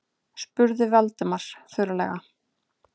spurði Valdimar þurrlega.